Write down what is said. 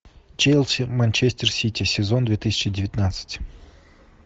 челси манчестер сити сезон две тысячи девятнадцать